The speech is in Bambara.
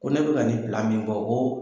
Ko ne bi ka nin min bɔ ko